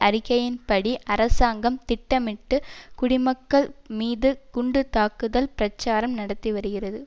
அறிக்கையின்படி அரசாங்கம் திட்டமிட்டு குடிமக்கள் மீது குண்டு தாக்குதல் பிரச்சாரம் நடத்தி வருகிறது